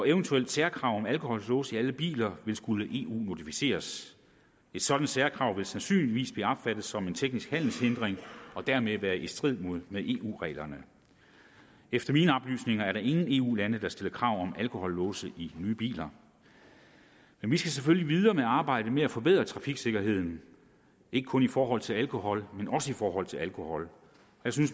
eventuelt særkrav om alkolåse i alle biler vil skulle eu modificeres et sådant særkrav vil sandsynligvis blive opfattet som en teknisk handelshindring og dermed være i strid med eu reglerne efter mine oplysninger er der ingen eu lande der stiller krav om alkolåse i nye biler men vi skal selvfølgelig videre med arbejdet med at forbedre trafiksikkerheden ikke kun i forhold til alkohol men også i forhold til alkohol